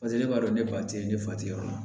Paseke ne b'a dɔn ne ba tɛ ne fa tɛ yɔrɔ min na